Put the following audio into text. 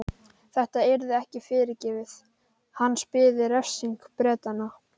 Þetta yrði ekki fyrirgefið, hans biði refsing Bretanna.